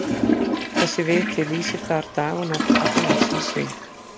Þessi viti lýsir þar dag og nótt allan ársins hring.